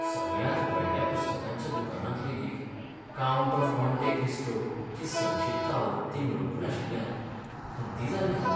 सगळ्यांत व्हडल्या पुस्तकांच्या दुकानांत लेगीत "काउंट ऑफ मोंटे क्रिस्टो"ची संक्षिप्त आवृत्ती मेळूंक नाशिल्ल्यान खंती जाल्लें हांव.